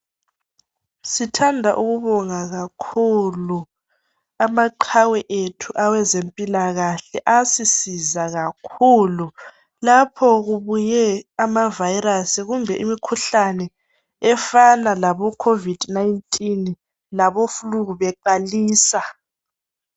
sithanda ukubonga kakhulu amaqhawe ethu awezempilakahle asisiza kakhulu lapho kubuye ama virus kumbe imikhuhlane efana labo covid 19 labo flue beqalisa